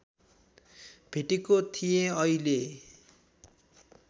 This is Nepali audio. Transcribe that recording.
भेटेको थिएँ अहिले